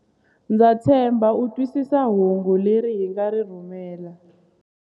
Ndza tshemba u twisisa hungu leri hi nga ri rhumela.